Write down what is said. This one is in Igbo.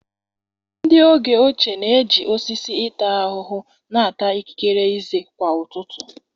Ndị oge ochie na-eji osisi ịta ahụhụ na-ata ikikere ezé kwa ụtụtụ.